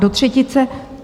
Do třetice.